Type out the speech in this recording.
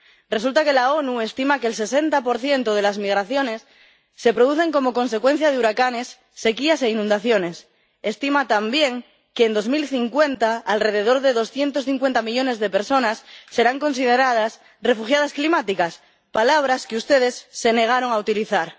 Resulta que las Naciones Unidas estiman que el 60 de las migraciones se producen como consecuencia de huracanes, sequías e inundaciones. Estiman también que, en 2050, alrededor de doscientos cincuenta millones de personas serán consideradas refugiadas climáticas, palabras que ustedes se negaron a utilizar.